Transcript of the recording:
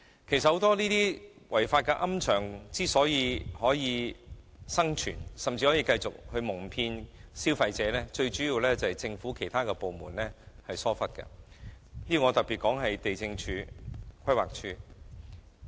其實，很多違規龕場之所以能生存甚至繼續蒙騙消費者，主要是由於其他政府部門疏忽所致，我特別指地政總署和規劃署。